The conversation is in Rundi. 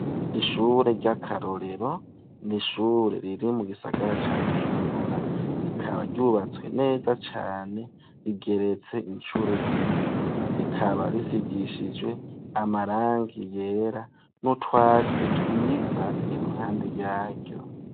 Ishure ry'akarorero n'ishure riri mu gisagara ca Bujumbura .Rikaba ryubatswe neza cane rigeretse inshuro zibiri rikaba risigishizwe amarangi yera nutwatsi twiza iruhande yaryo.